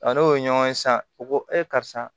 n'o ye ɲɔgɔn ye sisan u ko e karisa